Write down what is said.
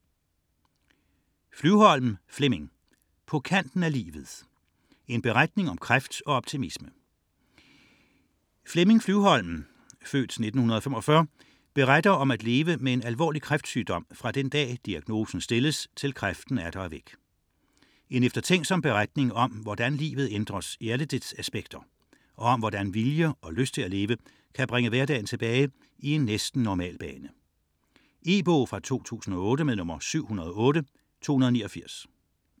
99.4 Flyvholm, Flemming Flyvholm, Flemming: På kanten af livet: en beretning om kræft og optimisme Flemming Flyvholm (f. 1945) beretter om at leve med en alvorlig kræftsygdom fra den dag diagnosen stilles til kræften atter er væk. En eftertænksom beretning om hvordan livet ændres i alle dets aspekter, og om hvordan vilje og lyst til at leve kan bringe hverdagen tilbage i en næsten normal bane. E-bog 708289 2008.